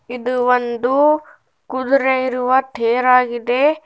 ಇದು ಒಂದು ಕುದರೆ ಇರುವ ತೇರ್ ಆಗಿದೆ.